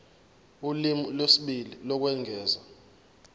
ulimi lwesibili lokwengeza